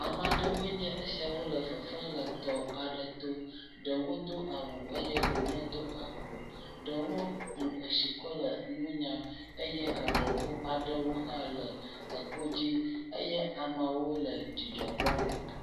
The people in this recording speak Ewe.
Ame aɖewoe nye esiawo le fefem le tɔ aɖe to. Ɖewo do awu eye ɖewo medo awu o. Ɖe ku etsi kɔ le nu nyam eye agɔ ŋu aɖewo hã le eto dzi eye ameawo le dzidzɔ kpɔm.